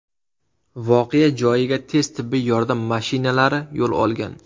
Voqea joyiga tez tibbiy yordam mashinalari yo‘l olgan.